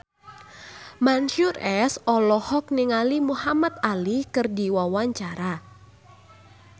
Mansyur S olohok ningali Muhamad Ali keur diwawancara